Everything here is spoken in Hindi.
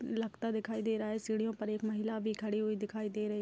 लगता दिखाई दे रहा है सीढियों पर एक महिला भी खड़ी हुई दिखाई दे रही --